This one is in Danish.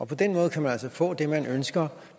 på den måde kan man altså få det man ønsker